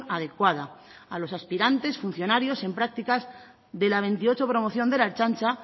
adecuada a los aspirantes funcionarios en prácticas de la veintiocho promoción de la ertzaintza